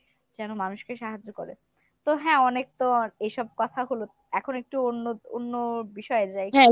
যেন মানুষকে সাহায্য করে। তো হ্যা অনেকতো এইসব কথা হলো এখন একটু অন্য অন্য বিষয়ে যাই